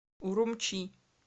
урумчи